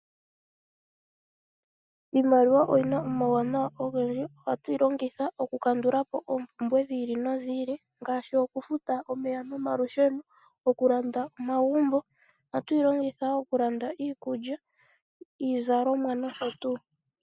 Iimaliwa oyi na omawunawa ogendji. Ohatu yi longitha okukandula po oompumbwe dhi ili nodhi ili ngaashi okufuta omeya nomalusheno, okulanda omagumbo, okulanda iikulya, iizalomwa nosho tuu.